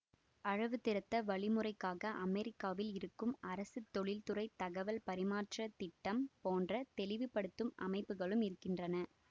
அளவுத்திருத்த வழிமுறைக்காக அமெரிக்காவில் இருக்கும் அரசுதொழில்துறை தகவல் பரிமாற்ற திட்டம் போன்ற தெளிவுப்படுத்தும் அமைப்புகளும் இருக்கின்றன